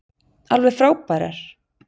Alveg frábærar.